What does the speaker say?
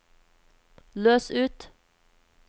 løs ut